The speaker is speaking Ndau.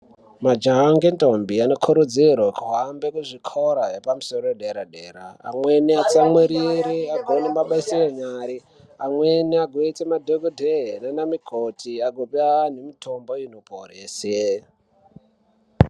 Majaha nendombi anokurudzirwa kuhambe kuzvikora yedera dera amweni asatsamwirire agone mabasa enyara amweni aite madhokodheya nana mukoti agope antu mitombo inoporesa.